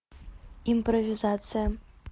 импровизация